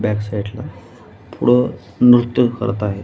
Back side ला पुढे नृत्य करत आहेत.